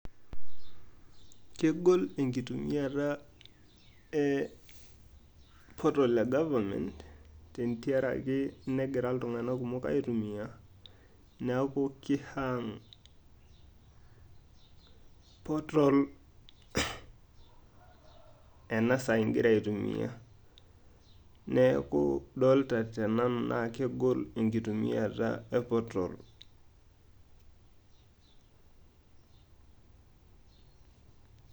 Kegol enkitumiata eh portal e government ,tentiaraki negira iltung'anak kumok aitumia. Neeku ki hang portal enasaa egira aitumia. Neeku dolta tenanu na kegol enkitumiata e portal.